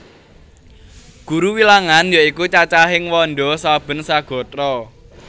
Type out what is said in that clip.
Guru Wilangan ya iku cacahing wanda saben sagatra